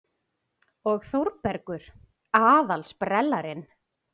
Og Þórbergur aðal-sprellarinn.